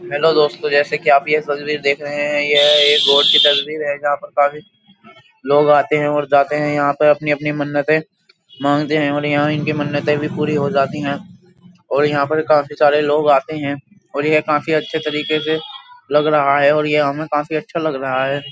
Hello दोस्तों जैसे कि आप यह तस्वीर देख रहे हैं यह एक गॉड की तस्वीर है जहाँ पर काफी लोग आते हैं और जाते हैं यहाँ पर अपनी-अपनी मन्नतें मांगते हैं और यहाँ इनकी मन्नताएं भी पूरी हो जाती हैं और यहाँ पर काफी सारे लोग आते हैं और यह काफी अच्छे तरीके से लग रहा है और यह हमें काफी अच्छा लग रहा है।